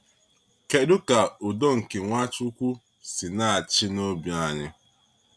Kedu ka Udo nke Nwachukwu si na-achị n’obi anyị?